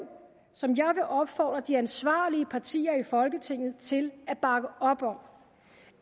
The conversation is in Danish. som jeg vil opfordre de ansvarlige partier i folketinget til at bakke op om